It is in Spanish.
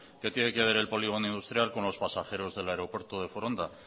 qué tiene que ver el polígono industrial con los pasajeros del aeropuerto de foronda